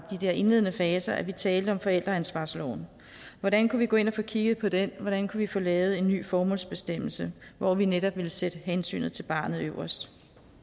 der indledende faser at vi talte om forældreansvarsloven hvordan kunne vi gå ind og få kigget på den hvordan kunne vi få lavet en ny formålsbestemmelse hvor vi netop ville sætte hensynet til barnet øverst